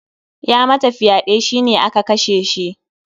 Ya ma wata fyaɗe, shi ne aka kashe shi.